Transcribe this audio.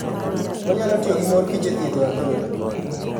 Onyalo tiyo gi mor kich e thiedho adhola.